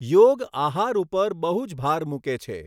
યોગ આહાર ઉપર બહુ જ ભાર મૂકે છે.